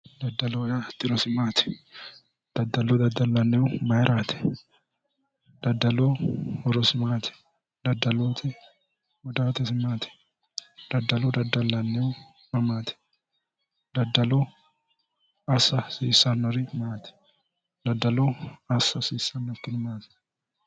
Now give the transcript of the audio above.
Daddalloho yaa tirosi maati, daddallo daddalanihu mayrati, daddaloho horosi maati, daddaluti gudaatesi maati, daddallo daddalanihu mamati, daddaloho assa hasiisanori ,assa hasiisanokkiri maati ?